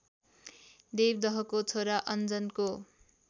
देवदहको छोरा अन्जनको